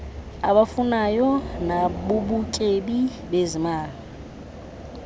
abafunayo nabubutyebi bezimali